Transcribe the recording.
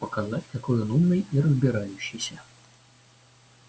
показать какой он умный и разбирающийся